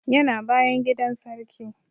Yana bayan gidan sarki